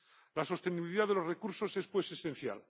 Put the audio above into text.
La sostenibilidad de los recursos es, pues, esencial.